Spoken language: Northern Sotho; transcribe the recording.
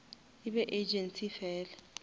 e be agency fela